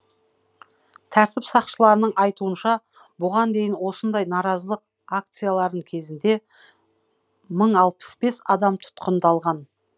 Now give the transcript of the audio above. тәртіп сақшыларының айтуынша бұған дейін осындай наразылық акцияларының кезінде мың алпыс бес адам тұтқындалған